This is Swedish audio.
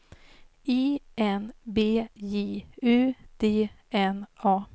I N B J U D N A